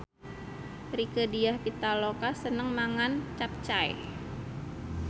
Rieke Diah Pitaloka seneng mangan capcay